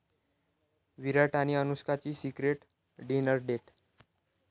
विराट आणि अनुष्काची secret dinner date